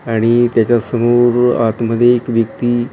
आणि त्याच्या समोर आत मध्ये एक व्यक्ती--